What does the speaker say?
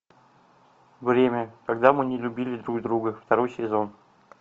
время когда мы не любили друг друга второй сезон